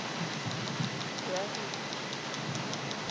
reagile